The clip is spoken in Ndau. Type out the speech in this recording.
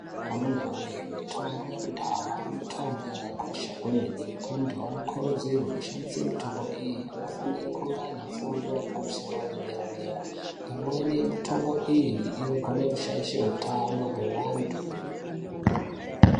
Amunawoye mutombo yekudhaya mutombo yakakosha kwemeno antu anekodzero yekushandisa mitombo iyi anofanira kunge aine fundo yepamusoro yederadera imwene yemitombo iyi inogona kushaisha utana weantu.